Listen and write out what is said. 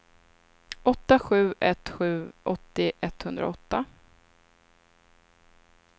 åtta sju ett sju åttio etthundraåtta